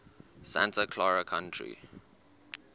santa clara county